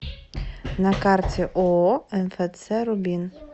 на карте ооо мфц рубин